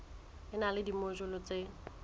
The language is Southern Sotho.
e na le dimojule tse